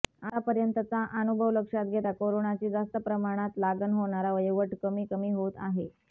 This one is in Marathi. आतापर्यंतचा आनुभव लक्षात घेता करोनाची जास्त प्रमाणात लागण होणारा वयोगट कमी कमी होत आहे